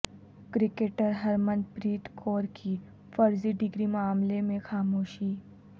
cricketer Harmanpreet Kaur کی فرضی degree معاملے میں خاموشی